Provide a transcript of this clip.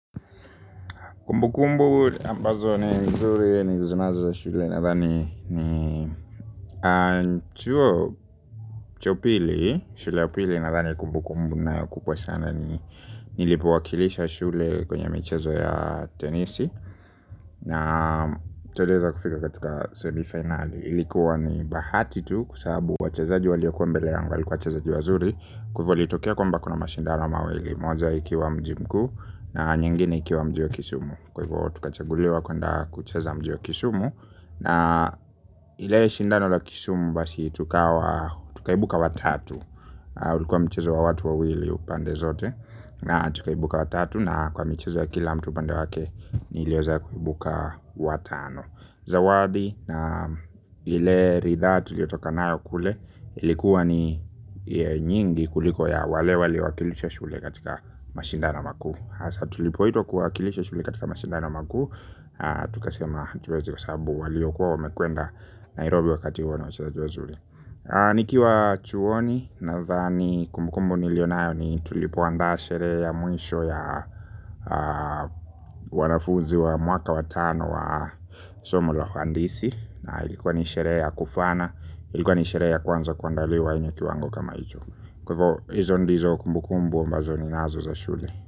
Kumbu kumbu ambazo ni mzuri ni zinazo ya shule nathani ni chuo cha upili, shule ya upili nathani kumbu kumbu ninayo kubwa sana ni nilipowakilisha shule kwenye michezo ya tenisi. Na tuliweza kufika katika semi final. Ilikuwa ni bahati tu kwa sababu wachezaji waliokuwa mbele yangu walikuwa wachezaji wazuri. Kwa hivo litokea kwamba kuna mashindano mawili. Moja ikiwa mji mkuu na nyingine ikiwa mji wa Kisumu. Kwa hivyo tukachaguliwa kuenda kucheza mji wa Kisumu. Na ile shindano la Kisumu basi tukaibuka watatu. Ulikuwa mchezo wa watu wawili pande zote. Na tukaibuka watatu na kwa mchezo ya kila mtu upande wake. Niliweza kuibuka watano. Zawadi na ile ridhaa tuliyotoka nayo kule. Ilikuwa ni nyingi kuliko ya wale waliowakilisha shule katika mashindano makuu hasa tulipoitwa kuwakilisha shule katika mashindano makuu. Tukasema hatuwezihesabu waliokuwa wamekwenda Nairobi wakati huo walikuwa wachezaji wazuri nikiwa chuoni nathani kumbukumbu niliyokuwa nayo ni sherehe ya mwisho ya wanafunzi wa mwaka watano wa somo la uhandisi. Na ilikuwa ni sherehe ya kufaana, ilikuwa ni sherehe ya kwanza kuandaliwa yenye kiwango kama hicho kwa hivyo hizo ndizo kumbukumbu ninazo za shule.